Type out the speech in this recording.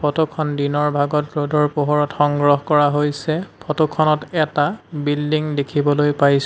ফটোখন দিনৰ ভাগত ৰ'দৰ পোহৰত সংগ্ৰহ কৰা হৈছে ফটোখনত এটা বিল্ডিং দেখিবলৈ পাইছোঁ।